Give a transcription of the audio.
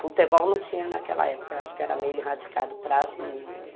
Futebol não tinha naquela época, acho que era meio erradicado para as meninas.